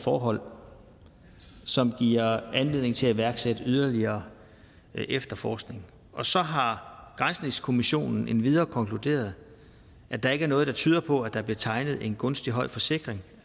forhold som giver anledning til at iværksætte yderligere efterforskning og så har granskningskommissionen endvidere konkluderet at der ikke er noget der tyder på at der blev tegnet en gunstig høj forsikring